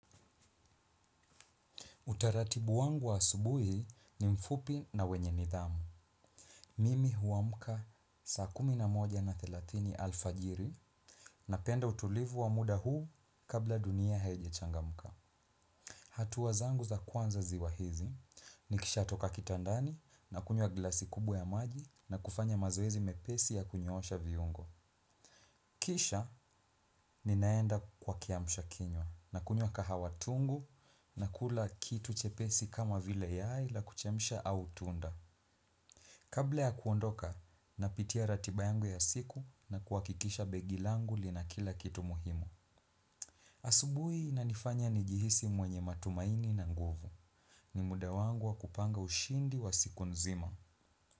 Utaratibu wangu wa asubuhi ni mfupi na wenye nidhamu. Mimi huamka saa kumi namoja na thilatini alfajiri napenda utulivu wa muda huu kabla dunia haijachangamuka. Hatua zangu za kwanza ziwa hizi ni kisha toka kitandani na kunywa glasi kubwa ya maji na kufanya mazoezi mepesi ya kunyosha viungo. Kisha ninaenda kwa kiamusha kinywa na kunywa kahawatungu na kula kitu chepesi kama vile yai la kuchemsha au tunda. Kabla ya kuondoka na pitia ratiba yangu ya siku na kuhakikisha begi langu lina kila kitu muhimu. Asubui inanifanya ni jihisi mwenye matumaini na nguvu. Ni muda wangu wa kupanga ushindi wa siku nzima.